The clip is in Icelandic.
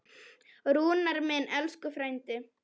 Rúnar minn, elsku frændi.